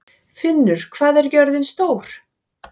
Finnur, hvað er jörðin stór?